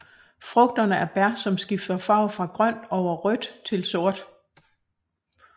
Frugterne er bær som skifter farve fra grønt over rødt til sort